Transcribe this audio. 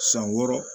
San wɔɔrɔ